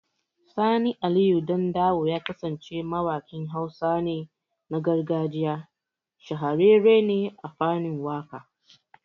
Sani Aliyu Dandawo Ya kasance mawakin Hausa ne, na gargajiya. Shahararre ne a fanin waka